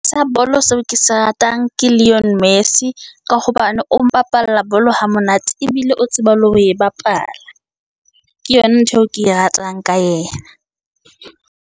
Sa bolo seo ke se ratang ke Leon Messy, ka hobane o mpapalla bolo ha monate, ebile o tseba le ho e bapala. Ke yona ntho eo ke e ratang ka yena.